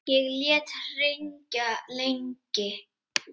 Ég lét hringja lengi.